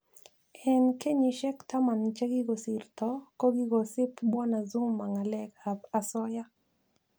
En kenyishek Taman chegigosirto, kigosib Bw Zuma ng'alek ab asoyaa.